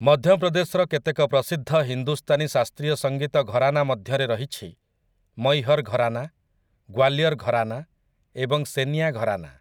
ମଧ୍ୟପ୍ରଦେଶର କେତେକ ପ୍ରସିଦ୍ଧ ହିନ୍ଦୁସ୍ତାନୀ ଶାସ୍ତ୍ରୀୟ ସଙ୍ଗୀତ ଘରାନା ମଧ୍ୟରେ ରହିଛି ମୈହର୍ ଘରାନା, ଗ୍ୱାଲିୟର୍ ଘରାନା ଏବଂ ସେନିଆ ଘରାନା ।